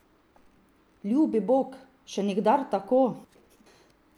Ljubi bog, še nikdar tako.